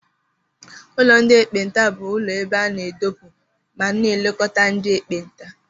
Ụlọ ndị ekpenta bụ ụlọ ebe a na-edopụ ma na-elekọta ndị ekpenta.